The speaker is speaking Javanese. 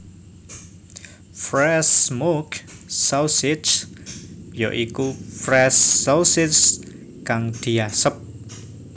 Fresh Smoke Sausage ya iku Fresh Sausage kang diasep